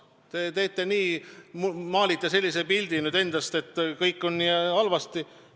Te maalite nüüd endast sellise pildi, et kõik on nii halvasti.